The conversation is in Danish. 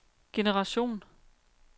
generation